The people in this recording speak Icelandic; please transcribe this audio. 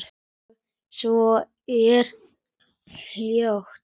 Og svo er hljótt.